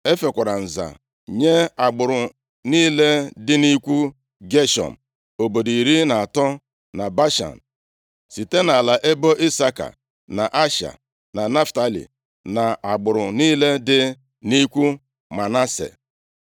E fekwara nza nye agbụrụ niile dị nʼikwu Geshọm obodo iri na atọ na Bashan, site nʼala ebo Isaka, na Asha, na Naftalị, na agbụrụ niile dị nʼikwu Manase.